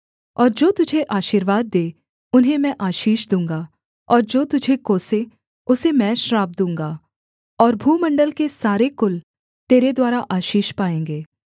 और जो तुझे आशीर्वाद दें उन्हें मैं आशीष दूँगा और जो तुझे कोसे उसे मैं श्राप दूँगा और भूमण्डल के सारे कुल तेरे द्वारा आशीष पाएँगे